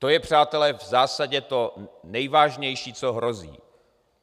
To je, přátelé, v zásadě to nejvážnější, co hrozí.